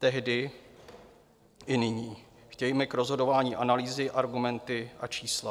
Tehdy i nyní chtějme k rozhodování analýzy, argumenty a čísla.